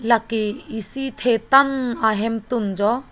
la ke isi the tan ahem tun jo.